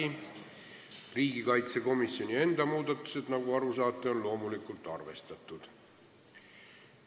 Nagu te aru saate, on riigikaitsekomisjoni enda muudatusettepanekuid loomulikult arvestatud.